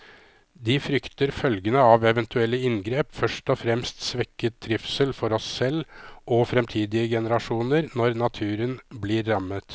De frykter følgene av eventuelle inngrep, først og fremst svekket trivsel for oss selv og fremtidige generasjoner når naturen blir rammet.